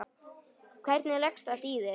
Hvernig leggst þetta í þig?